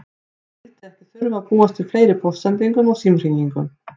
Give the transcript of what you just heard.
Hann vildi ekki þurfa að búast við fleiri póstsendingum og símhringingum.